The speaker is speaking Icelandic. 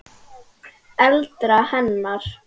eldra hennar.